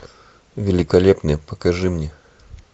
великолепный покажи мне